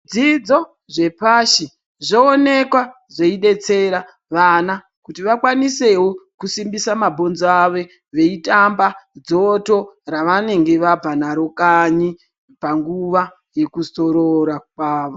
Zvidzidzo zvepashi zvooneka zveibetsera vana kuti vakwanisevo kusimbisa mabhonzo avo. Veitamba dzoto ravanenge vabva naro kanyi panguva yekuzorora kwavo.